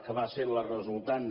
que va ser la resultant